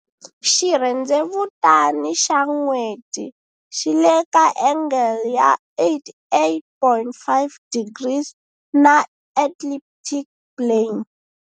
Xirhendzevutani xa N'weti xi le ka angle ya 88.5 degrees na ecliptic plane.